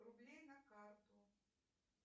рублей на карту